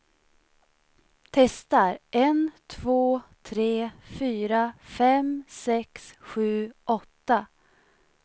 Testar en två tre fyra fem sex sju åtta.